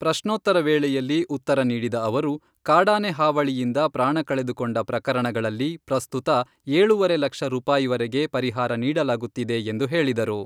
ಪ್ರಶ್ನೋತ್ತರ ವೇಳೆಯಲ್ಲಿ ಉತ್ತರ ನೀಡಿದ ಅವರು, ಕಾಡಾನೆ ಹಾವಳಿಯಿಂದ ಪ್ರಾಣ ಕಳೆದುಕೊಂಡ ಪ್ರಕರಣಗಳಲ್ಲಿ ಪ್ರಸ್ತುತ ಏಳೂವರೆ ಲಕ್ಷ ರೂಪಾಯಿವರೆಗೆ ಪರಿಹಾರ ನೀಡಲಾಗುತ್ತಿದೆ ಎಂದು ಹೇಳಿದರು.